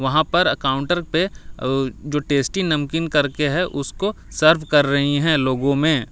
वहाँ पर काउंटर पे अ जो टेस्टी नमकीन करके है उसको सर्वे कर रही है लोगो में।